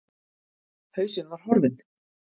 Hausinn var horfinn.